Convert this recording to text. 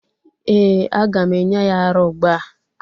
Eeh, aga m enye ya ara ugbu a.